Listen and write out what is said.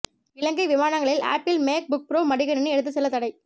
இலங்கை விமானங்களில் Apple MacBook Pro மடிக்கணினி எடுத்துச் செல்ல தடை